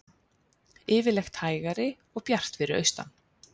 Yfirleitt hægari og bjart fyrir austan